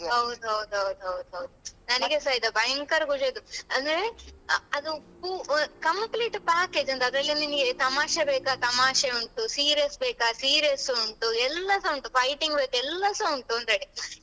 ಹೌದೌದು ಹೌದೌದು ಹೌದು ನನಗೆಸಾ ಇದು ಭಯಂಕರ ಖುಷಿ ಆಯ್ತು ಅಂದ್ರೆ ಅದು ಪು ಅಹ್ complete package ಅದ್ರಲ್ಲಿ ನಿಮ್ಗೆ ತಮಾಷೆ ಬೇಕಾ ತಮಾಷೆ ಉಂಟು serious ಬೇಕಾ serious ಉಂಟು ಎಲ್ಲಾಸ ಉಂಟು fighting ಬೇಕಾ ಎಲ್ಲಾಸ ಉಂಟು ಅಂತಹೇಳಿ.